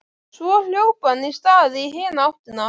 Svo hljóp hann af stað í hina áttina.